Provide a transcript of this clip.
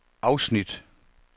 afsnit